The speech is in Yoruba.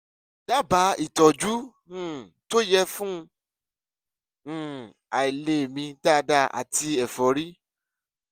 dábàá ìtọ́jú um tó yẹ fún um àìlè mí dáadáa àti ẹ̀fọ́rí